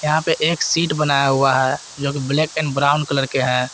यहां पे एक सीट बनाया हुआ है जोकि ब्लैक एंड ब्राऊन कलर के हैं।